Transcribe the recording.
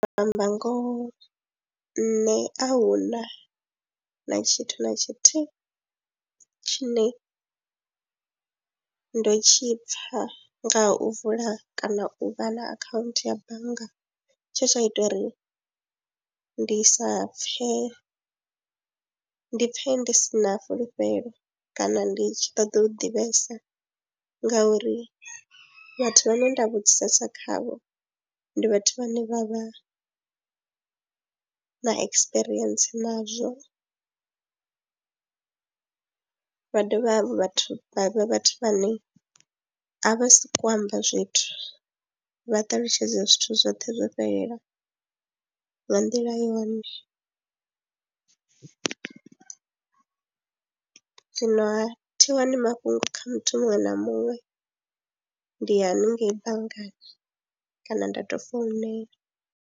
Ndi amba ngoho nṋe a hu na na tshithu na tshithihi tshine ndo tshi pfha nga ha u vula kana u vha na akhaunthu ya bannga tshe tsha ita uri ndi sa pfhe, ndi pfhe ndi si na fulufhelo kana ndi tshi ṱoḓa u ḓivhesa ngauri vhathu vhane nda vhudzisesa khavho ndi vhathu vhane vha vha na ekisipirientsi nazwo. Vha dovha hafhu vhathu vha vhe vhathu vhane a vha sokou amba zwithu, vha ṱalutshedze zwithu zwoṱhe zwo fhelela nga nḓila yone, zwinoha thi wani mafhungo kha muthu muṅwe na muṅwe ndi ya haningei banngani kana nda tou founela.